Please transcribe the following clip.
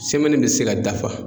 Semɛni be se ka dafa